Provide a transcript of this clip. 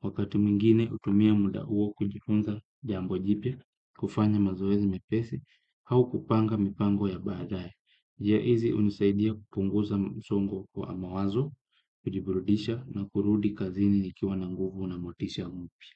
Wakati mwingine hutumia muda huo kujifunza jambo jipya, kwa kufanya mazoezi mepesi, au kupanga mipango ya baadae. Njia hizi hunisaidia kupunguza msongo wa mawazo, kujiburudisha na kurudi kazini nikiwa na nguvu na motisha mpya.